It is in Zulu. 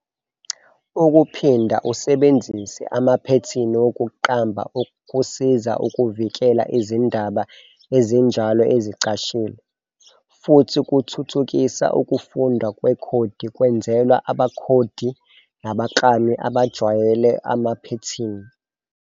Ukuphinda usebenzise amaphethini wokuqamba kusiza ukuvikela izindaba ezinjalo ezicashile, futhi kuthuthukisa ukufundwa kwekhodi kwenzelwa abakhodi nabaklami abajwayele amaphethini.